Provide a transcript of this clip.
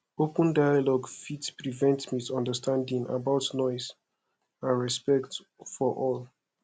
open dialogue fit prevent misunderstanding about noise and respect for all